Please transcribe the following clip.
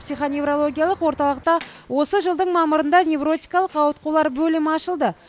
психоневрологиялық орталықта осы жылдың мамырында невротикалық ауытқулар бөлімі ашылды